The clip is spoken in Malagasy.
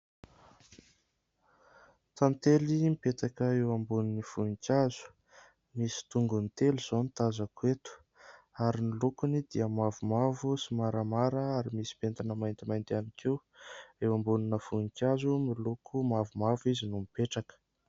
Tantely mipetaka eo ambonin'ny voninkazo, misy tongony telo izao ny tazako eto ary ny lokony dia mavomavo sy maramara ary misy pentina maintimainty ihany koa, eo ambonina voninkazo miloko mavomavo izy no mipetraka.